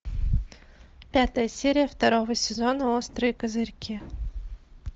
пятая серия второго сезона острые козырьки